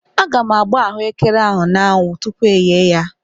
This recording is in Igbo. Aga m agba ahụekere ahụ n'anwụ tupu yee ya.